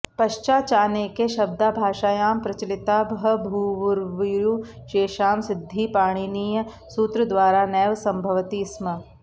पश्चाचानेके शब्दा भाषायां प्रचलिता बभूवुर्येषां सिद्धिः पाणिनीयसूत्रद्वारा नैव सम्भवति स्म